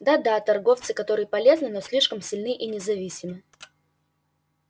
да да торговцы которые полезны но слишком сильны и независимы